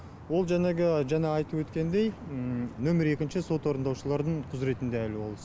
ол жәнегі жаңа айтып өткендей нөмер екінші сот орындаушылардың құзыретінде әлі ол іс